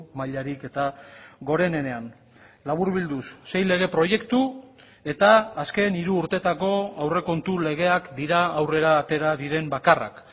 mailarik eta gorenenean laburbilduz sei lege proiektu eta azken hiru urteetako aurrekontu legeak dira aurrera atera diren bakarrak